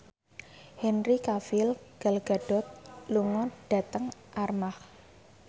Henry Cavill Gal Gadot lunga dhateng Armargh